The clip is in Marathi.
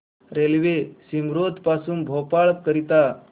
रेल्वे मिसरोद पासून भोपाळ करीता